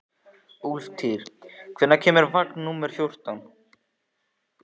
Úlftýr, hvenær kemur vagn númer fjórtán?